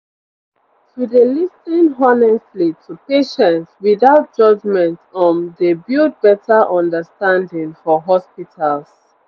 to dey lis ten honestly to patients without judgement um dey build better understanding for hospitals